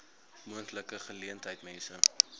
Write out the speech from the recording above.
moontlike geleentheid mense